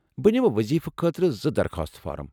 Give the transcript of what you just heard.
بہٕ نِمہٕ وضیفہٕ خٲطرٕ زٕ درخاست فورم ۔